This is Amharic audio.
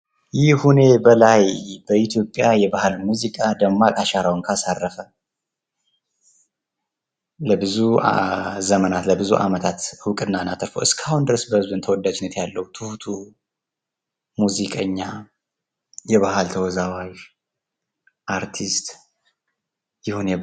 ይሁኔ በላይ በኢትዮጵያ የባህል ሙዚቃ ደማቅ አሻራዉን ካሳረፈ ፤ ለብዙ ዘመናት፣ ለብዙ አመታት እዉቅናን አትርፎ እስካሁን ድረስ ተወዳጅነት ያለው ትሁቱ ሙሲቀኛ፣ የባህል ተወዛዋዥ፣ አርቲስት ይሁኔ በላይ ነው።